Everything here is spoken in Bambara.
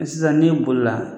Sisan n'i bolila